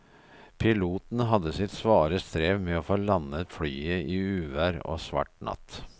Piloten hadde sitt svare strev med å få landet flyet i uvær og svart natt.